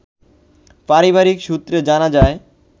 পারিবারিক সূত্রে জানা যায়